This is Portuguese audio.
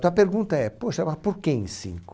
Então a pergunta é, poxa, mas por que em cinco?